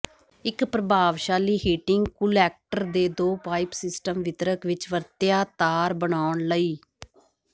ਇੱਕ ਪ੍ਰਭਾਵਸ਼ਾਲੀ heating collector ਦੇ ਦੋ ਪਾਈਪ ਸਿਸਟਮ ਵਿਤਰਕ ਵਿੱਚ ਵਰਤਿਆ ਤਾਰ ਬਣਾਉਣ ਲਈ